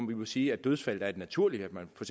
vi må sige at dødsfaldet er naturligt at man for